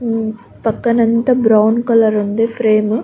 పక్కన అంతా brown colour ఉంది ఫ్రేమ్ .